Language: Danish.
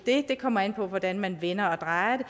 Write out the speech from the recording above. det det kommer an på hvordan man vender og drejer det